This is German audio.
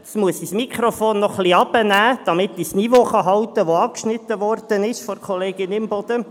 Jetzt muss ich das Mikrofon noch etwas herunterstellen, damit ich das von Kollegin Imboden angeschnittene Niveau halten kann.